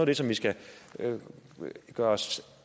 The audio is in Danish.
det som vi skal gøre os